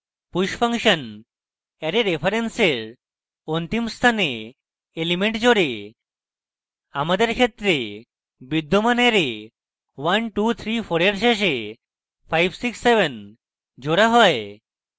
push function array রেফারেন্সের অন্তিম স্থানে elements জোড়ে আমাদের ক্ষেত্রে বিদ্যমান অ্যারে 1234 এর শেষে 567 জোড়া হয়